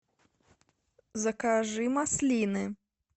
закажи маслины